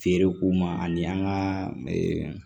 Feere ko ma ani an ka